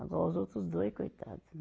Agora os outros dois, coitado.